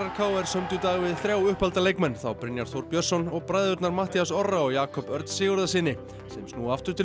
k r sömdu í dag við þrjá uppalda leikmenn þá Brynjar Þór Björnsson og bræðurnar Matthías Orra og Jakob Örn Sigurðarsyni sem snúa aftur til